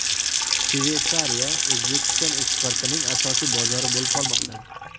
Shveysariya O‘zbekiston eksportining asosiy bozori bo‘lib qolmoqda.